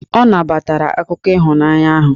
Ọ nabatara akụkọ ịhụnanya ahụ.